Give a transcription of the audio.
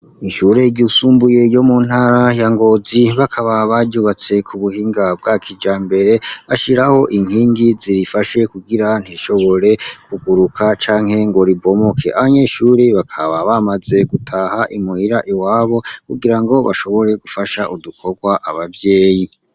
Ishure ryisumbuye ryo mu ntara ya Ngozi bakaba baryubatse ku buhinga bwa kijambere bashiraho inkingi ziyifashe kugira ntirishobore kuguruka canke ngo ribomoke. Abanyeshure bakaba bamaze gutaha i muhira iwabo kugira ngo bashobore gufasha udukorwa abavyeyi.